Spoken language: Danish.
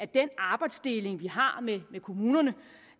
den arbejdsdeling vi har med kommunerne